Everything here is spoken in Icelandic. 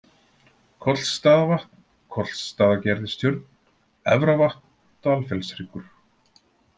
Kollsstaðavatn, Kollsstaðagerðistjörn, Efravatn, Dalfjallshryggur